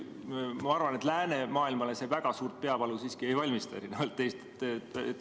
Ma arvan, et läänemaailmale see väga suurt peavalu siiski ei valmista, erinevalt teist.